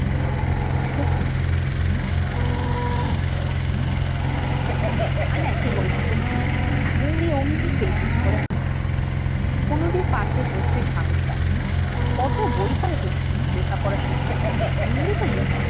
হম আয়না একটু গল্প করি মৌরী অমনি পিল পিল করে কুমুদের পাশে বসতে সাহস পায় না কত বই পড়ে কোন লেখাপড়া শেখে মৌরি তো মূর্খ